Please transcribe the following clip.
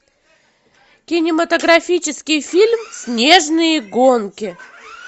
кинематографический фильм снежные гонки